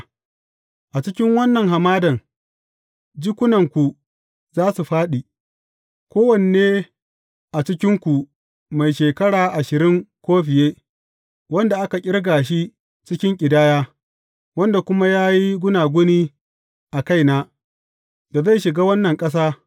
A cikin wannan hamadan, jikunanku za su fāɗi, kowanne a cikinku mai shekara ashirin ko fiye, wanda aka ƙirga shi cikin ƙidaya, wanda kuma ya yi gunaguni a kaina, da zai shiga wannan ƙasa.